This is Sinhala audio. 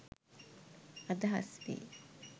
අදහස් වේ.